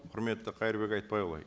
құрметті қайырбек айтбайұлы